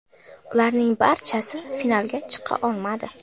Ularning barchasi finalga chiqa olmadi.